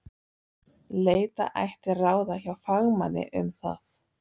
Leita ætti ráða hjá fagmanni um það.